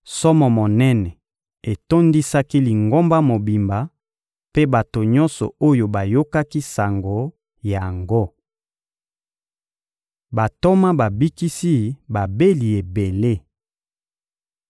Somo monene etondisaki Lingomba mobimba mpe bato nyonso oyo bayokaki sango yango. Bantoma babikisi babeli ebele